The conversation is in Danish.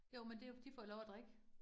Jo men det jo, de får jo lov at drikke